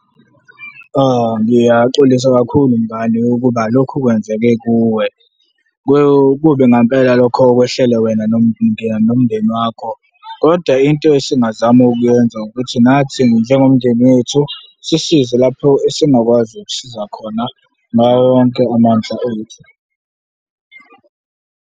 Ngiyaxolisa kakhulu mngani ukuba lokhu kwenzeke kuwe, kubi ngempela lokho okwehlele wena nomndeni wakho kodwa into esingazama ukuyenza ukuthi nathi njengomndeni wethu sisize lapho esingakwazi ukusiza khona, ngawo wonke amandla ethu.